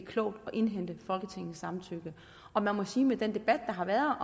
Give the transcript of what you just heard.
klogt at indhente folketingets samtykke og man må sige at med den debat der har været